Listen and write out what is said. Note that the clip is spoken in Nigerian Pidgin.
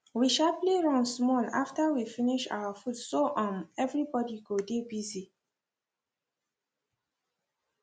we sharply run small after we finish our food so um every body go dey busy